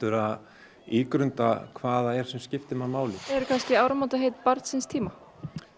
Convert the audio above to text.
að ígrunda hvað það er sem skiptir mann máli eru áramótaheit barns síns tíma